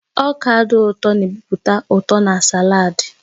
Ọka dị ụtọ na-ebupụta ụtọ na sàlaad